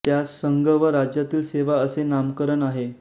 त्यास संघ व राज्यातील सेवा असे नामकरण आहे